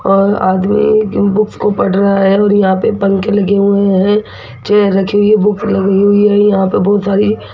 और आदमी बुक्स को पढ़ रहा है और यहां पे पंख लगे हुए हैं चेयर रखी हुई है बुक्स लगी हुई है यहां पे बहुत सारी --